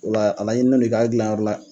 O la , a laɲinilen don i k'a dilan yɔrɔ la